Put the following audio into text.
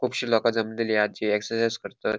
कुबशी लोका जमलेली हा जी इक्साइज़ करतत.